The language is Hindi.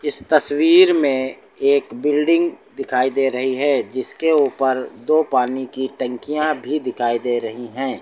इस तस्वीर में एक बिल्डिंग दिखाई दे रही है जिसके ऊपर दो पानी की टंकियां भी दिखाई दे रही हैं।